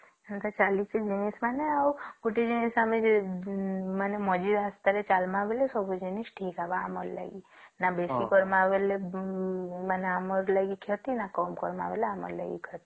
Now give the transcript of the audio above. ଏଟା ଚାଲିଛି ଆଉ ଗୋଟେ ଜିନିଷ ମାନେ ମଝିରେ ଆସିଥିଲା ଚାଲିବ ଲାଗି ସବୁ ଜିନିଷ ଠିକ ହେବ ଆମର ଲାଗି ନ ବେଶୀ କରିବା ମାନେ ଆମର ଲାଗି କ୍ଷତି ନ କମ କଲେ ଆମର ଲାଗି କ୍ଷତି